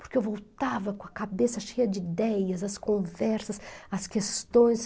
Porque eu voltava com a cabeça cheia de ideias, as conversas, as questões.